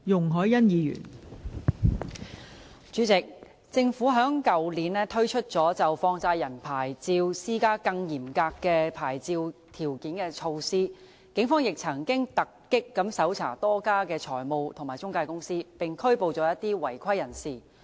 代理主席，政府於去年推出就放債人牌照施加更嚴格的牌照條件的措施，警方亦曾突擊搜查多家財務及中介公司，並拘捕一些違規人士。